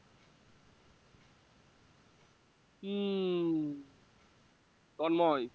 উম Tanmoy